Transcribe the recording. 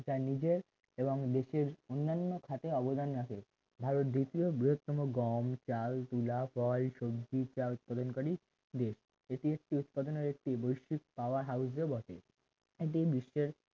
যা নিজের এবং দেশের অন্যান্য খাতে অবদান রাখে ভারত দ্বিতীয় বৃহত্তম গম চাল তুলা ফল সবজি চা উৎপাদনকারী দেশ এটি একটি উৎপাদনের একটি বহিস্কৃত power house ও বটে এটি বিশ্বের